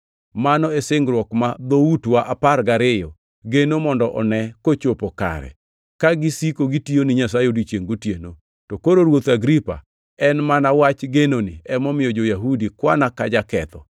Mano e singruok ma dhoutwa apar gariyo geno mondo one kochopo kare, ka gisiko gitiyo ni Nyasaye odiechiengʼ gotieno. To koro ruoth Agripa, en mana wach genoni, emomiyo jo-Yahudi kwana kaka jaketho.